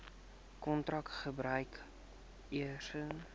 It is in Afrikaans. kantoor gebruik eisnr